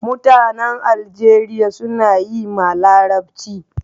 Mutanen Aljeriya suna yi ma larabci